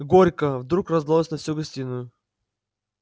горько вдруг раздалось на всю гостиную